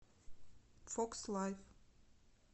фокс лайф